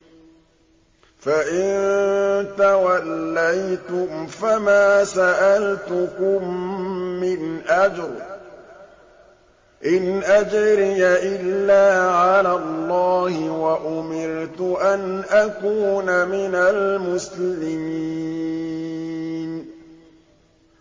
فَإِن تَوَلَّيْتُمْ فَمَا سَأَلْتُكُم مِّنْ أَجْرٍ ۖ إِنْ أَجْرِيَ إِلَّا عَلَى اللَّهِ ۖ وَأُمِرْتُ أَنْ أَكُونَ مِنَ الْمُسْلِمِينَ